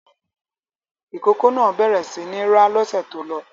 Ìkókó náà bẹ̀rẹ̀ sí ní rá lọ́sẹ̀ tó lọ.